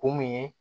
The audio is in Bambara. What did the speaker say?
Kun mun ye